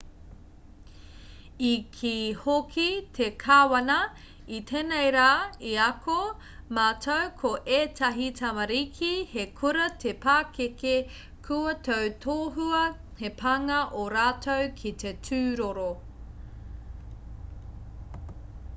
i kī hoki te kāwana i tēnei rā i ako mātou ko ētahi tamariki he kura te pakeke kua tautohua he pānga ō rātou ki te tūroro